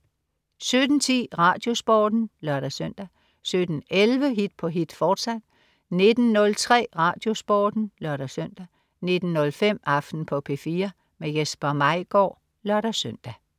17.10 RadioSporten (lør-søn) 17.11 Hit på hit, fortsat 19.03 RadioSporten (lør-søn) 19.05 Aften på P4. Jesper Maigaard (lør-søn)